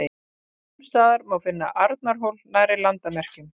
sums staðar má finna arnarhól nærri landamerkjum